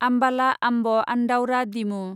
आमबाला आम्ब आन्दाउरा डिमु